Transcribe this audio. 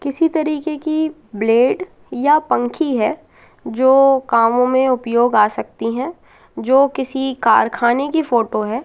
किसी तरीके की ब्लेड या पंखी हैं जो कामों में उपयोग आ सकती हैं जो किसी कारखानों की फोटो हैं।